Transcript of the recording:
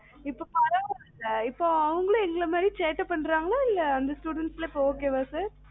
இப்பம் பரவாயில்ல sir இப்பம் அவுங்க எங்கள மாறி சேட்டை பண்ணுறாங்களா student இப்பம் okay ஆ sir